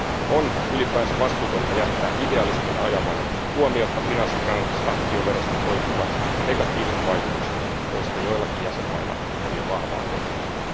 On ylipäänsä vastuutonta jättää idealismin ajamana huomiotta finanssitransaktioverosta koituvat negatiiviset vaikutukset, joista joillakin jäsenvaltioilla on jo vahvaa kokemusta.